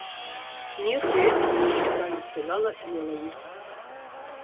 нет я этого не считаю сказала мелани